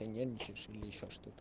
нервничаешь или ещё что-то